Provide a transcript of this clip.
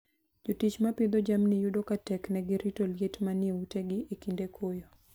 Jotich ma pidho jamni yudo ka teknegi rito liet manie utegi e kinde koyo.